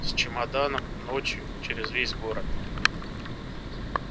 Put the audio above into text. с чемоданом ночью через весь город